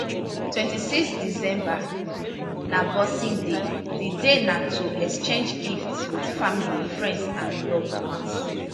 26 december na boxing day di day na to exchange gift wit family friends and loved ones